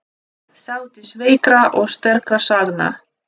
Þátíð veikra og sterkra sagna.